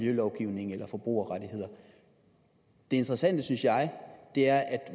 miljølovgivningen eller forbrugerrettigheder det interessante synes jeg er